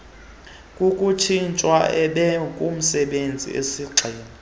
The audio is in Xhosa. kokutshintshwa ebekumsebenzi osigxina